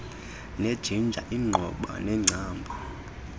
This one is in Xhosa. nejingja iinqoba neengcambu